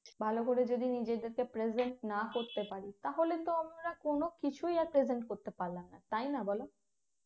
ভালো করে যদি নিজেদেরকে present না করতে পারি তাহলেতো আমরা কোন কিছুই আর present করতে পারলাম না তাই না বলো